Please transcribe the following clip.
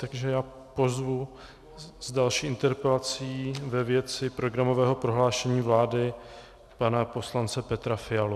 Takže já pozvu s další interpelací ve věci programového prohlášení vlády pana poslance Petra Fialu.